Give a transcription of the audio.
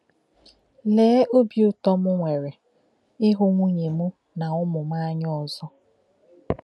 Lèe óbí ụ̀tọ̀ m nwere ịhụ̀ nwunye m na ụmụ m ánya ọzọ!